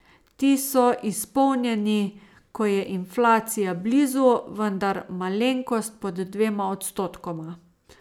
Ti so izpolnjeni, ko je inflacija blizu, vendar malenkost pod dvema odstotkoma.